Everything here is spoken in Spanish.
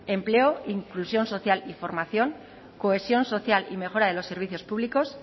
empleo inclusión social y formación cohesión social y mejora de los servicios públicos